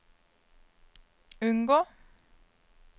unngå